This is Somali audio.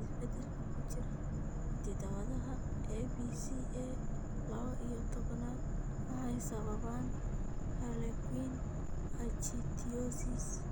Isbeddellada ku jira hidda-wadaha ABCA lawo iyo tobaan waxay sababaan harlequin ichthyosis.